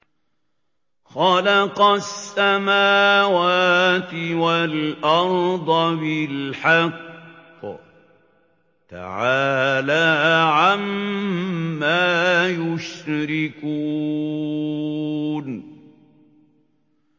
خَلَقَ السَّمَاوَاتِ وَالْأَرْضَ بِالْحَقِّ ۚ تَعَالَىٰ عَمَّا يُشْرِكُونَ